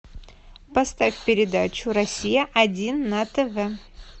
поставь передачу россия один на тв